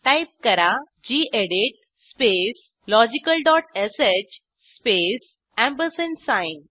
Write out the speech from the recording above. type करा गेडीत space logicalश स्पेस साइन